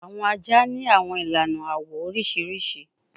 Awọn aja ni awọn ilana awọ oriṣiriṣi